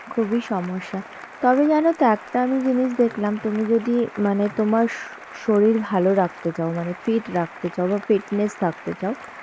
খুবই সমস্যা, তবে জানো তো একটা আমি জিনিস দেখলাম তুমি যদি মানে তোমার স~ শরীর ভালো রাখতে চাও মানে fit রাখতে চাও বা fitness থাকতে চাও